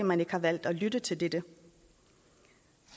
man ikke har valgt at lytte til dette